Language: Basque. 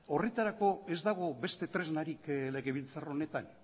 horretarako ez dago beste tresnarik legebiltzar honetan